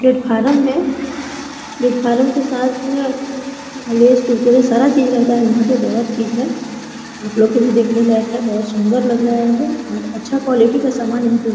platform है platform के साथ उम्म लेस कुरकुरे सारा चीज रहता है यहाँ पे बहुत चीजे है आपलोग के देखने लायक है बहुत सुन्दर लग रहा है अं अच्छा क्वालिटी सामान यहाँ पे--